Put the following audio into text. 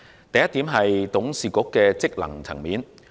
第一，董事局的職能。